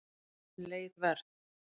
Leið Verð